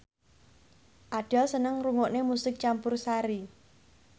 Adele seneng ngrungokne musik campursari